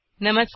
नमस्कार